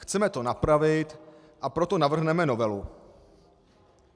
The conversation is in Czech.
Chceme to napravit, a proto navrhneme novelu."